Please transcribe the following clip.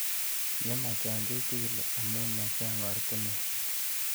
Ye machang' kechig'il amu machang' oratinwek